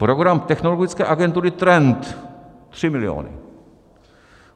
Program Technologické agentury Trend, 3 miliony.